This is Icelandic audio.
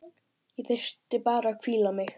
Ég þyrfti bara að hvíla mig.